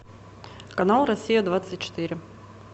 канал россия двадцать четыре